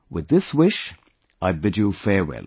With this wish, I bid you farewell